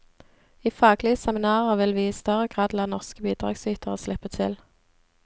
I faglige seminarer vil vi i større grad la norske bidragsytere slippe til.